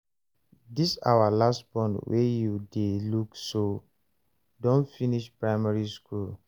dis our last born wey you dey look so don finish primary school